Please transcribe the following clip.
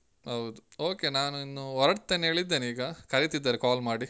ಹೌದು, okay ನಾನು ಇನ್ನು ಹೋರ್ಡತೇನೆ ಹೇಳಿದ್ದೇನೆ ಈಗ ಕರೀತಿದ್ದಾರೆ call ಮಾಡಿ.